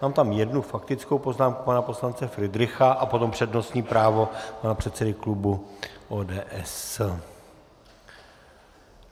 Mám tam jednu faktickou poznámku pana poslance Fridricha a potom přednostní právo pana předsedy klubu ODS.